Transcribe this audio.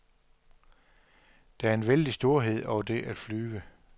Der er en vældig storhed over det at flyve.